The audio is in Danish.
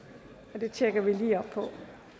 så det tjekker vi lige op på